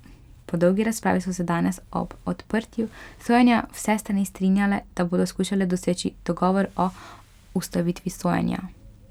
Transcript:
Po dolgi razpravi so se danes ob odprtju sojenja vse strani strinjale, da bodo skušale doseči dogovor o ustavitvi sojenja.